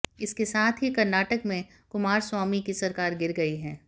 इसके साथ ही कर्नाटक में कुमारस्वामी की सरकार गिर गई है